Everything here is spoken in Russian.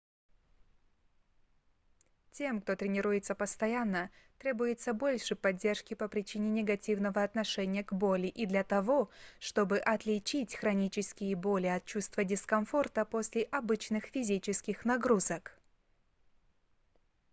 тем кто тренируется постоянно требуется больше поддержки по причине негативного отношения к боли и для того чтобы отличить хронические боли от чувства дискомфорта после обычных физических нагрузок